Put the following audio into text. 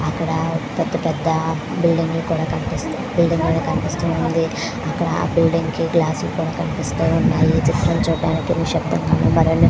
ఇక్కడ పేద పేద బిల్డింగ్ లు కూడా కనిపిస్తూ వున్నాయ్. అక్కడ బిల్డింగ్ కి గ్లాస్ కూడా కనిపిస్తూ వునాది. చూడానికి --